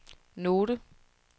note